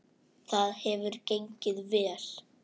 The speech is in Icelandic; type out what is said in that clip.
Það hefur gengið vel.